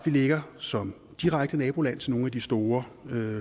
ligger som direkte naboland til nogle af de store